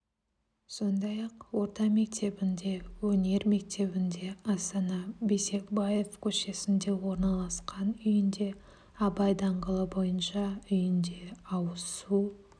сондай-ақ орта метебінде өнер мектебінде астана бейсекбаев көшесінде орналасқан үйінде абай даңғылы бойынша үйінде ауыз су